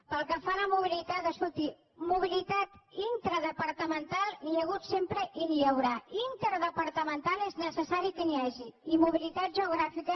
pel que fa a la mobilitat escolti de mobilitat intradepartamental n’hi ha hagut sempre i n’hi haurà d’interdepartamental és necessari que n’hi hagi i mobilitat geogràfica